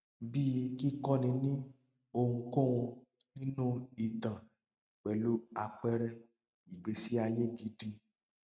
bíi kíkọni ní ohunkóhun nínú ìtàn pẹlú àpẹẹrẹ ìgbésí ayé gidi